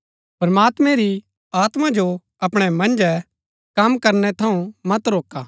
प्रमात्मैं री आत्मा जो अपणै मन्जै कम करनै थऊँ मत रोका